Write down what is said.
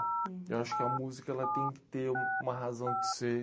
Eu acho que a música ela tem que ter uma razão de ser.